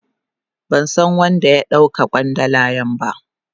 Ban san wan da ya dau ka kwandalan ba.